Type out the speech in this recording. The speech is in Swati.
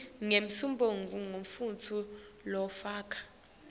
nesibongo semuntfu lofaka